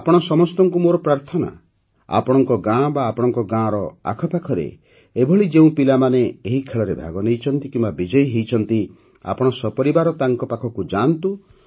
ଆପଣ ସମସ୍ତଙ୍କୁ ମୋର ପ୍ରାର୍ଥନା ଯେ ଆପଣଙ୍କ ଗାଁ ବା ଆପଣଙ୍କ ଗାଁର ଆଖପାଖରେ ଏଭଳି ଯେଉଁ ପିଲାମାନେ ଏହି ଖେଳରେ ଭାଗ ନେଇଛନ୍ତି କିମ୍ବା ବିଜୟୀ ହୋଇଛନ୍ତି ଆପଣ ସପରିବାର ତାଙ୍କ ପାଖକୁ ଯାଆନ୍ତୁ